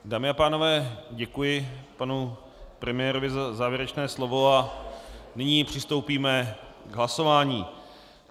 Dámy a pánové, děkuji panu premiérovi za závěrečné slovo a nyní přistoupíme k hlasování.